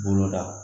Bolo da